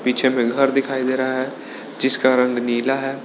पीछे में घर दिखाई दे रहा है जिसका रंग नीला है।